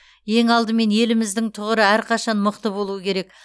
ең алдымен еліміздің тұғыры әрқашан мықты болуы керек